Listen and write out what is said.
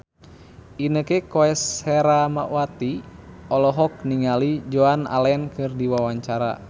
Inneke Koesherawati olohok ningali Joan Allen keur diwawancara